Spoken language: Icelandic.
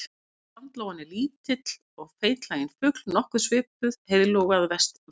Sandlóan er lítill og feitlaginn fugl nokkuð svipuð heiðlóu að vexti.